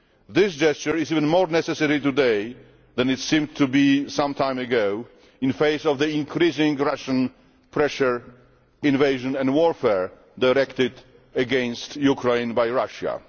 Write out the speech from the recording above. This gesture is even more necessary today than it seemed to be some time ago, in the face of the increasing pressure, invasion and warfare directed against Ukraine by Russia.